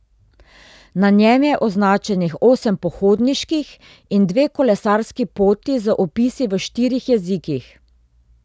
Na njem je označenih osem pohodniških in dve kolesarski poti z opisi v štirih jezikih.